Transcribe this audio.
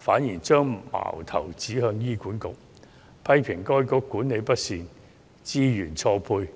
方面；他們反將矛頭指向醫管局，批評當局管理不善、資源錯配。